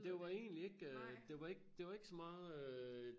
Det var egentlig ikke øh det var ik så meget øh